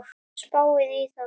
Spáið í það!